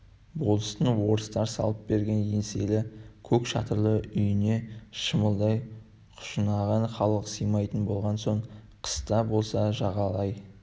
болыстың орыстар салып берген еңселі көк шатырлы үйіне шымалдай құжынаған халық сыймайтын болған соң қыс та болса жағалай